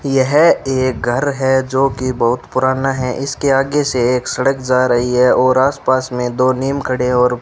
यह एक घर है जोकि बहुत पुराना है इसके आगे से एक सड़क जा रही है और आस पास में दो नीम खड़े और --